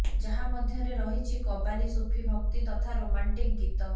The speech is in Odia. ଯାହା ମଧ୍ୟରେ ରହିଛି କବାଲି ସୁଫି ଭକ୍ତି ତଥା ରୋମାଂଟିକ୍ ଗୀତ